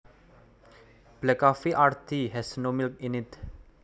Black coffee or tea has no milk in it